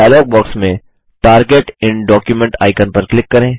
dialogue box में target in document icon पर click करें